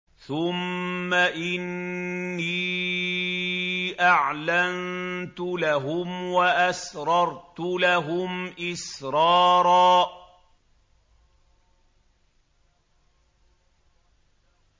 ثُمَّ إِنِّي أَعْلَنتُ لَهُمْ وَأَسْرَرْتُ لَهُمْ إِسْرَارًا